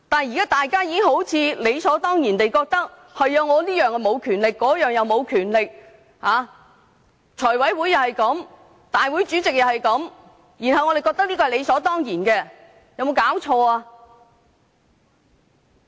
現在大家好像理所當然地認為，立法會沒有這種權力，立法會主席也沒有這種權力，這是怎麼搞的？